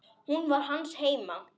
Hún var hans heima.